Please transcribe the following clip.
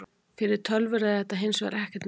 Fyrir tölvur er þetta hins vegar ekkert mál.